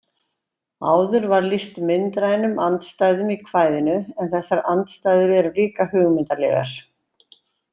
Áður var lýst myndrænum andstæðum í kvæðinu en þessar andstæður eru líka hugmyndalegar.